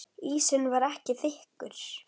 Ísinn var ekki þykkur.